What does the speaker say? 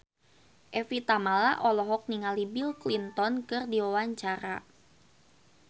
Evie Tamala olohok ningali Bill Clinton keur diwawancara